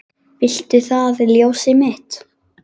Viltu það ljósið mitt?